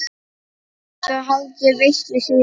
Svo held ég veislu síðar.